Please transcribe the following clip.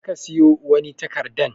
Je ka siyo wani takarɗan.